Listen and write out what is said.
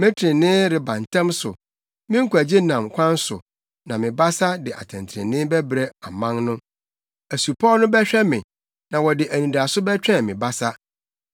Me trenee reba ntɛm so, me nkwagye nam kwan so, na me basa de atɛntrenee bɛbrɛ aman no. Asupɔw no bɛhwɛ me na wɔde anidaso bɛtwɛn me basa.